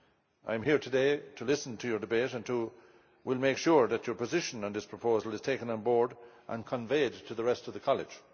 I am here today to listen to your debate and will make sure that your position on this proposal is taken on board and conveyed to the rest of the College.